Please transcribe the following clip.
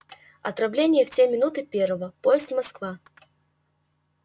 отправление в три минуты первого поезд москва